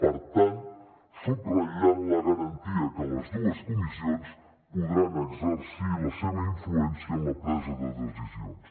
per tant subratllar la garantia que les dues comissions podran exercir la seva influència en la presa de decisions